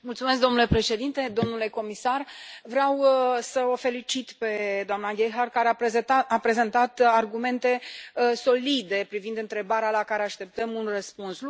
Domnule președinte, domnule comisar, vreau să o felicit pe doamna Gebhardt care a prezentat argumente solide privind întrebarea la care așteptăm un răspuns.